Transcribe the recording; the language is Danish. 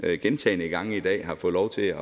gentagne gange i dag har fået lov til at